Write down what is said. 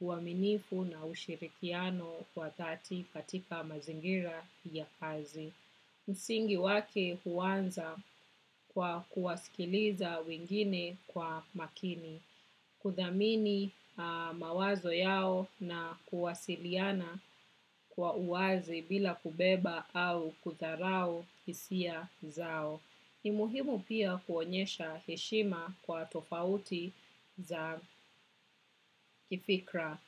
uaminifu na ushirikiano kwa dhati katika mazingira ya kazi. Msingi wake huanza kwa kuwasikiliza wengine kwa makini. Kuthamini mawazo yao na kuwasiliana kwa uwazi bila kubeba au kudharau hisia zao. Ni muhimu pia kuonyesha heshima kwa tofauti za kifikra.